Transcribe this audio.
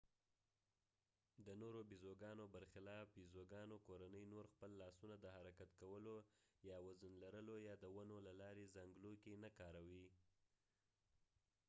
د نورو بيزوګانو برخلاف يزوګانو کورنۍ نور خپل لاسونه د حرکت کولو یا وزن لرلو یا د ونو له لارې زانګلو کې نه کاروئ